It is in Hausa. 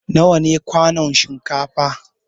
Nawa ne kwanun shinkafa?